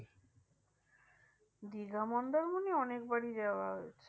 দীঘা মন্দারমণি অনেকবারই যাওয়া হয়েছে।